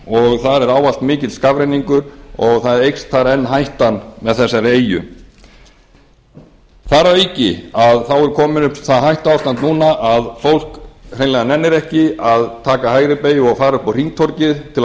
skálatúns og þar er ávallt mikill skafrenningur og þar eykst þar enn hættan með þessari eyju þar að auki er komið upp það hættuástand núna að fólk hreinlega nennir ekki að taka hægri beygju og fara upp á hringtorgið til að